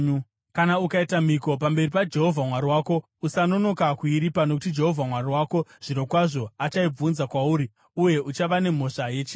Kana ukaita mhiko pamberi paJehovha Mwari wako, usanonoka kuiripa, nokuti Jehovha Mwari wako zvirokwazvo achaibvunza kwauri uye uchava nemhosva yechivi.